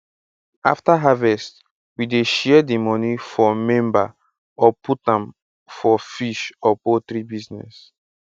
after harvest we dey share di moni for member or put am for fish or poultry business